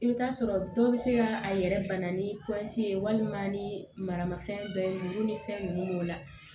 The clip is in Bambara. I bɛ taa sɔrɔ dɔw bɛ se ka a yɛrɛ bana ni pɔsi ye walima ni maramafɛn dɔ ye n'u ni fɛn ninnu b'o la